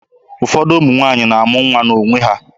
Ụfọdụ ụmụ nwaanyị na-amụ nwa n'onwe ha.